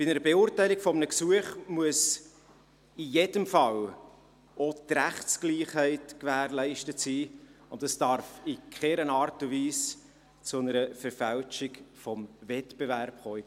Bei der Beurteilung eines Gesuchs muss in jedem Fall auch die Rechtsgleichheit gewährleistet sein, und es darf in keiner Art und Weise zu einer Verfälschung des Wettbewerbs kommen.